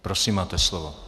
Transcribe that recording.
Prosím, máte slovo.